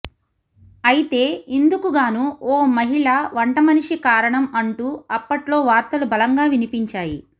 అయితే ఇందుకుగాను ఓ మహిళ వంటమనిషి కారణం అంటూ అప్పట్లో వార్తలు బలంగా వినిపించాయి